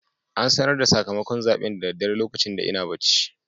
An sanar da sakamakon zaɓen da daddare lokacin ina bacci.